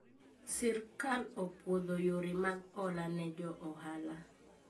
Sirkal opuodho yore mag hola ne jo oala